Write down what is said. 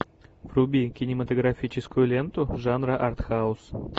вруби кинематографическую ленту жанра артхаус